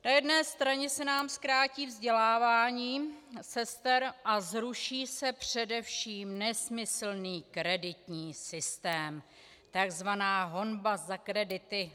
Na jedné straně se nám zkrátí vzdělávání sester a zruší se především nesmyslný kreditní systém, tzv. honba za kredity...